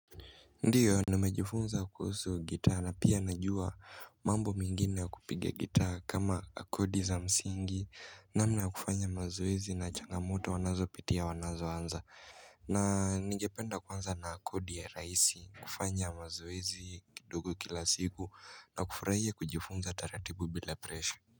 Ndiyo nimejifunza kuhusu gitaa na pia najua mambo mengine ya kupiga gitaa kama akodi za msingi namna kufanya mazoezi na changamoto wanazo pitia wanazo anza na ningependa kwanza na akodi ya rahisi kufanya mazoezi kidogo kila siku na kufurahia kujifunza taratibu bila presha.